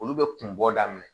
Olu bɛ kun bɔ daminɛ